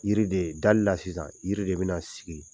Yiri de dali la sisan yiri de bɛna sigi